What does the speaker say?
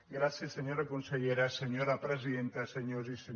gràcies senyora consellera senyora presidenta se·nyors i senyores diputades